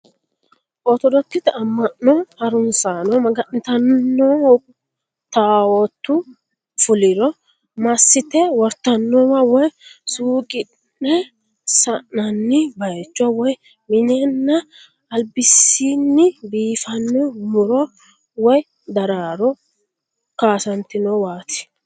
Ortodokisete amma'no harunsaano maga'nitannonna taawootu fuliro massite wortannowa woy sunqine sa'nanni baayicho woy minenna albasiinni biiffano muro woy daraaro kaasantinowaati.